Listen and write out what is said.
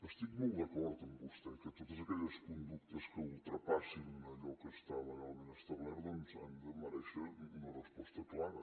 estic molt d’acord amb vostè que totes aquelles conductes que ultrapassin allò que està legalment establert doncs han de merèixer una resposta clara